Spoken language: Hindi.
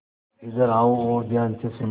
इधर आओ और ध्यान से सुनो